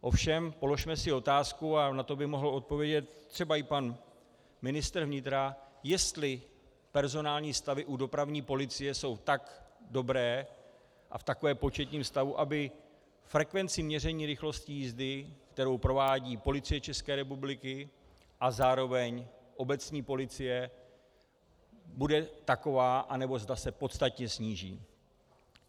Ovšem položme si otázku, a na to by mohl odpovědět třeba i pan ministr vnitra, jestli personální stavy u dopravní policie jsou tak dobré a v takovém početním stavu, aby frekvenci měření rychlosti jízdy, kterou provádí Policie České republiky a zároveň obecní policie, bude taková, anebo zda se podstatně sníží.